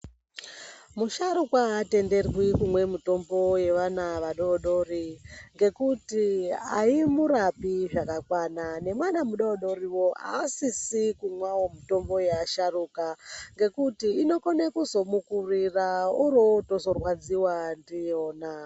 Musharukwa aatenderwi kumwa mitombo yaana adoodori ngekuti aimurapi zvakakwana nemwana mudoodoriwo aasisi kumwawo mitombo yaasharuka ngekuti inokone kuzomukurira oro otozorwadziwa ndiyona.